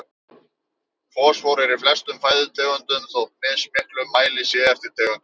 Fosfór er í flestum fæðutegundum þótt í mismiklum mæli sé eftir tegundum.